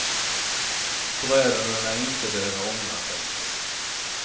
Bröderna lär inte behöva ångra sig.